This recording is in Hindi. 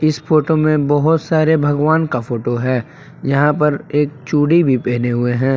इस फोटो में बहुत सारे भगवान का फोटो है यहां पर एक चूड़ी भी पहने हुए हैं।